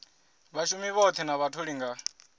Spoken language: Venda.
vhashumi vhoṱhe na vhatholi nga